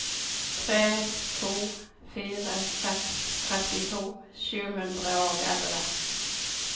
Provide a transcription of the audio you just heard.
tre to fire seks trettito sju hundre og elleve